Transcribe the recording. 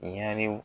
Ɲarew